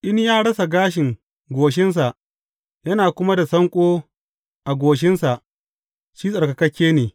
In ya rasa gashin goshinsa yana kuma da sanƙo a goshinsa, shi tsarkakakke ne.